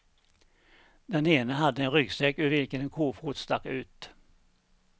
Den ene hade en ryggsäck ur vilken en kofot stack ut.